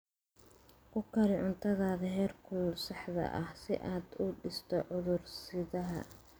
Ku kari cuntada heerkulka saxda ah si aad u disho cudur-sidaha.